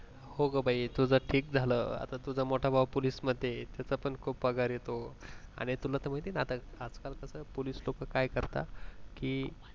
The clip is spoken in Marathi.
हो ग बाई तुझं ठीक झालं आता तुझा मोठा भाऊ पोलीस मध्ये आहे त्याचा पण खूप पगार येतो आणि तुला तर माहित आहे आजकाल कस पोलीस लोक काय करतात कि